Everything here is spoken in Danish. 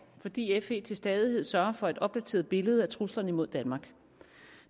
fordi fe til stadighed sørger for et opdateret billede af truslerne imod danmark